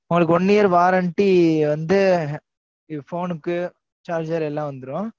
One year warenty வந்து இந்த phone க்கு charger எல்லாம் வந்துரும்.